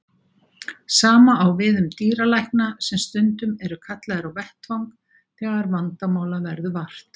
Sama á við um dýralækna sem stundum eru kallaðir á vettvang þegar vandamála verður vart.